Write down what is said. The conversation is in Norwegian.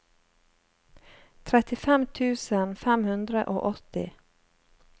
trettifem tusen fem hundre og åtti